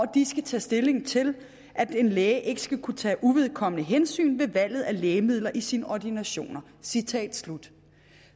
de skal tage stilling til at en læge ikke skal kunne tage uvedkommende hensyn ved valget af lægemidler i sine ordinationer